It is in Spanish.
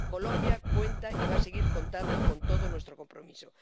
Colombia cuenta y va a seguir contando con todo nuestro compromiso.